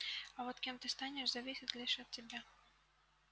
а вот кем ты станешь зависит лишь от тебя